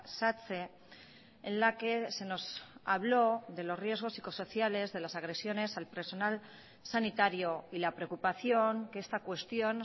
satse en la que se nos habló de los riesgos psicosociales de las agresiones al personal sanitario y la preocupación que esta cuestión